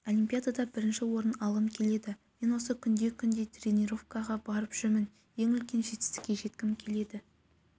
олимпиадада бірінші орын алғым келеді мен осы күнде-күнде тренировкаға барып жүрмін ең үлкен жетістікке жеткім келеді